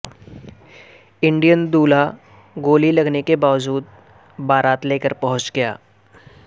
Indian دولہا گولی لگنے کے باوجود بارات لے کر پہنچ گیا